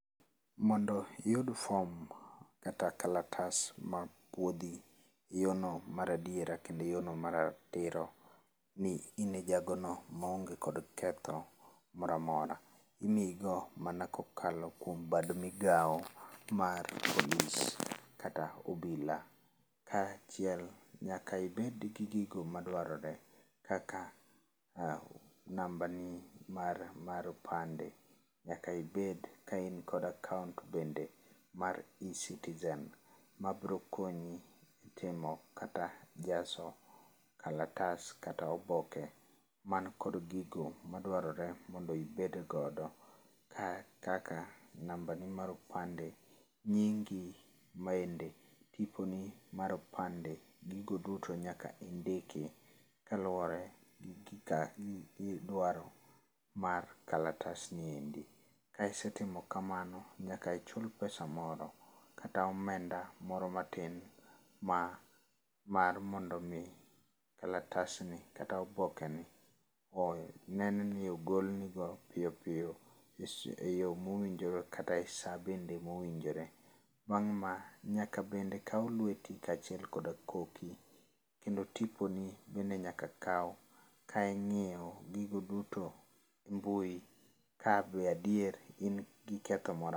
Mondo iyud form kata kalatas ma puodhi e yo no mar adiera kendo yo no ma ratiro ni in e jago no ma onge kod ketho moramora. Imii go mana kokalo kuom bad migao wa polis kata obila. Kachiel nyaka ibed gi gigo ma dwarore kaka namba ni mar opande, nyaka ibed ka in kod akaont bende mar Ecitizen ma biro konyi timo kata jazo kalatas kata oboke man kod gigo madwarore mondo ibed godo kaka namba ni mar opande, nyingi, bende tipo ni mar opande. Gigo duto nyaka indiki kaluwore gi gika, gi dwaro mar kalatas niendi. Ka isetimo kamano, nyaka ichul pesa moro kata omenda moro matin ma mar mondo omi kalatas ni kata oboke ni onen ni ogolni go piyo piyo e yo mowinjore kata e saa bende mowinjore. Bang' ma, nyaka bende kaw lweti kachiel kod koki, kendo tipo ni bende nyaka kaw. Ka ing'iyo gigo duto e mbui ka be adier in gi ketho moramora.